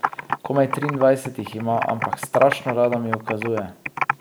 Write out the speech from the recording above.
Komaj triindvajset jih ima, ampak strašno rada mi ukazuje.